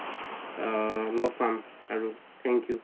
আ লগ পাম আৰু thank you